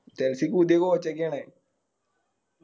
ക്ക് പുതിയ Coach ഒക്കെയാണ്